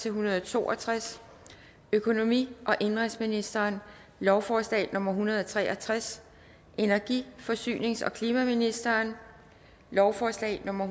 en hundrede og to og tres økonomi og indenrigsministeren lovforslag nummer l en hundrede og tre og tres energi forsynings og klimaministeren lovforslag nummer